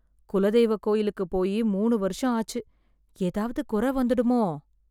குலதெய்வ கோயிலுக்கு போய் மூணு வருஷம் ஆச்சு, ஏதாவது குறை வந்துடுமோ?